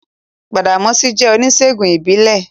Gbàdàmọ́sí jẹ́ oníṣèègùn ìbílẹ̀